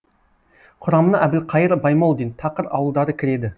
құрамына әбілқайыр баймолдин тақыр ауылдары кіреді